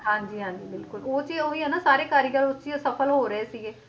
ਹਾਂਜੀ ਹਾਂਜੀ ਬਿਲਕੁਲ ਉਹ ਤੇ ਉਹੀ ਹੈ ਸਾਰੇ ਕਾਰੀਗਰ ਉਹ 'ਚ ਹੀ ਅਸਫਲ ਹੋ ਰਹੇ ਸੀਗੇ,